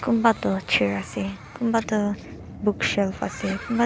kumba tu chair ase kumba tu bookshelf ase kumba tu--